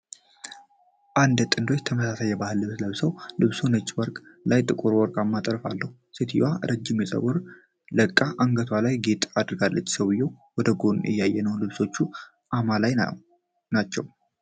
አንድ ጥንዶች ተመሳሳይ የባህል ልብስ ለብሰዋል። ልብሱ ነጭ ጨርቅ ላይ ጥቁርና ወርቃማ ጥልፍ አለው። ሴትየዋ ረጅም ፀጉሯን ለቅቃ አንገቷ ላይ ጌጥ አድርጋለች። ሰውየው ወደ ጎን እያየ ነው። ልብሶቹ አማላይ ናቸው።